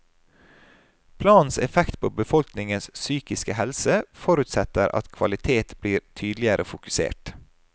Planens effekt på befolkningens psykiske helse forutsetter at kvalitet blir tydeligere fokusert.